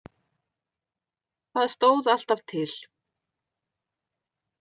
Það stóð alltaf til.